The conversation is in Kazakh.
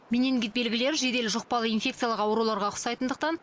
менингит белгілері жедел жұқпалы инфекциялық ауруларға ұқсайтындықтан